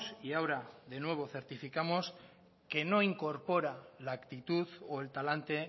y ahora de nuevo certificamos que no incorpora la actitud o el talante